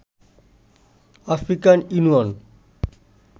African union